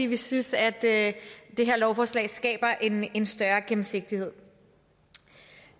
vi synes at det her lovforslag skaber en en større gennemsigtighed